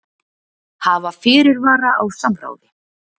Hafa fyrirvara á samráði